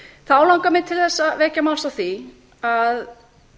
þá langar mig til þess að vekja máls á því að